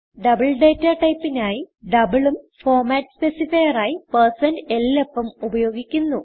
double data typeനായി doubleഉം format specifier ആയി 160lf ഉം ഉപയോഗിക്കുന്നു